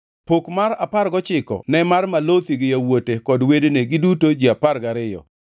Pok mar apar gochiko ne mar Malothi gi yawuote kod wedene, giduto ji apar gariyo,